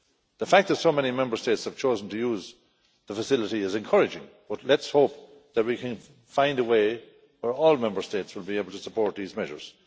The fact that so many Member States have chosen to use the facility is encouraging, but let's hope that we can find a way where all Member States will be able to support these measures.